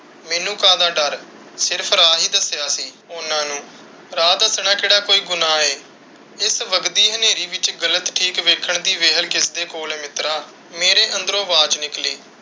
ਮੈਨੂੰ ਕਾਹਦਾ ਡੱਰ? ਸਿਰਫ਼ ਰਾਹ ਹੀ ਦਸਿਆ ਸੀ ਉਹਨਾਂ ਨੂੰ। ਰਾਹ ਦਸਣਾ ਕਿਹੜਾ ਕੋਈ ਗੁਨਾਹ ਹੈ? ਇਸ ਵੱਘਦੀ ਹਨੇਰੀ ਵਿੱਚ ਗ਼ਲਤ ਠੀਕ ਵੇਖਣ ਦੀ ਵੇਹਲ ਕਿਸ ਦੇ ਕੋਲ ਹੈ ਮਿੱਤਰਾ? ਮੇਰੇ ਅੰਦਰੋਂ ਆਵਾਜ਼ ਨਿਕਲੀ।